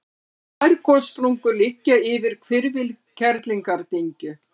tvær gossprungur liggja yfir hvirfil kerlingardyngju